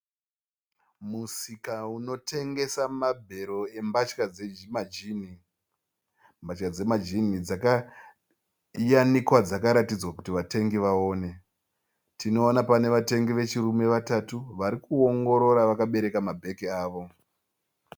Musika unotengesa mabhero embatya dzemajini. Mbatya dzemajini dzakayanikwa dzakararidzwa kuti vatengi vaone. Tinoona pane vatengi vechirume vatatu varikuongorora vakabereka mabheke avo.